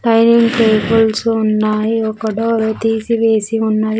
ఫైన tables ఉన్నాయి ఒక door తీసి వేసి ఉన్నది.